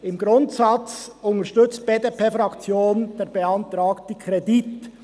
Im Grundsatz unterstützt die BDP-Fraktion den beantragten Kredit.